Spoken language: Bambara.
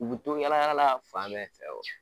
U bi to yala yala la fan bɛɛ fɛ wo.